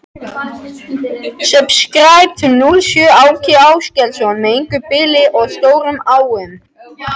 Ögmunda, ferð þú með okkur á miðvikudaginn?